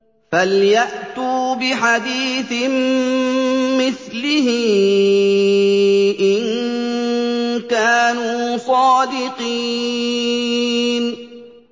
فَلْيَأْتُوا بِحَدِيثٍ مِّثْلِهِ إِن كَانُوا صَادِقِينَ